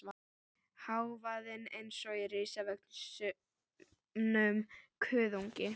Hávaðinn eins og í risavöxnum kuðungi.